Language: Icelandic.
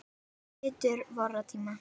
Hetju vorra tíma.